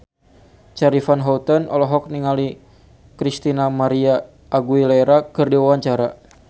Charly Van Houten olohok ningali Christina María Aguilera keur diwawancara